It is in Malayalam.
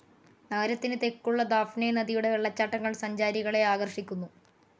നഗരത്തിനു തെക്കുള്ള ദാഫ്നെ നദിയുടെ വെള്ളച്ചാട്ടങ്ങൾ സഞ്ചാരികളെ ആകർഷിക്കുന്നു.